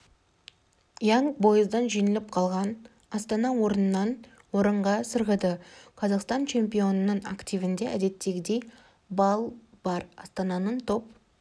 янг бойздан жеңіліп қалған астана орыннан орынға сырғыды қазақстан чемпионының активінде әдеттегідей балл бар астананың топ